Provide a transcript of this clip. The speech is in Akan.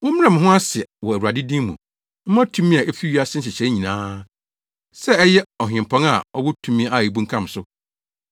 Mommrɛ mo ho ase wɔ Awurade din mu mma tumi a efi wiase nhyehyɛe nyinaa: sɛ ɛyɛ Ɔhempɔn a ɔwɔ tumi a ebunkam so,